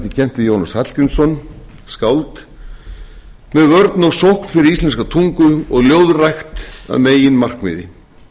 við jónas hallgrímsson skáld með vörn og sókn fyrir íslenska tungu og ljóðrækt að meginmarkmiði